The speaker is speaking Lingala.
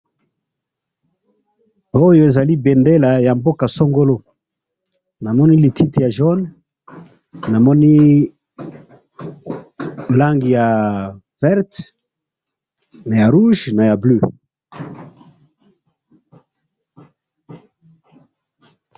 Oyo ezali bendela yamboka songolo, namoni lititi ya jaune, namoni langi ya vert, Naya rouge Naya bleue